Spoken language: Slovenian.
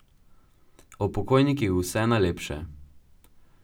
O pokojnikih vse najlepše.